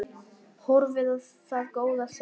Horfði á það góða stund.